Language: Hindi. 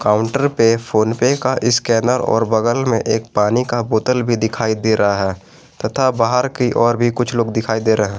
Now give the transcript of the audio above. काउंटर पे फोन पे का इस्कैनर और बगल में एक पानी का बोतल भी दिखाई दे रहा है तथा बाहर की ओर भी कुछ लोग दिखाई दे रहे है।